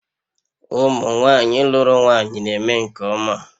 Ụmụ nwanyị lụrụ nwanyị na-eme nke ọma